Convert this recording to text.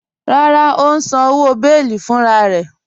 Rárá, ó ǹ sàn owo bẹ̀ẹlí fúnrararẹ̀